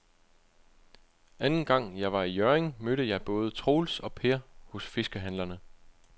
Anden gang jeg var i Hjørring, mødte jeg både Troels og Per hos fiskehandlerne.